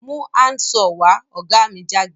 Mú hand saw wá! ògá mi jágbe